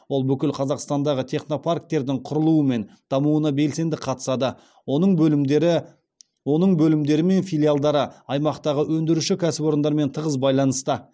ол бүкіл қазақстандағы технопарктердің құрылуы мен дамуына белсенді қатысады оның бөлімдері оның бөлімдері мен филиалдары аймақтағы өндіруші кәсіпорындармен тығыз байланыста